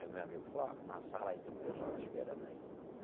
Aí o meu amigo falou, ó, na sala aí tem um pessoal te esperando aí.